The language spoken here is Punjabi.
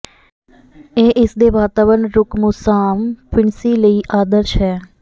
ਇਹ ਇਸ ਦੇ ਵਾਤਾਵਰਣ ਰੁਕ ਮੁਸਾਮ ਫਿਣਸੀ ਲਈ ਆਦਰਸ਼ ਹੈ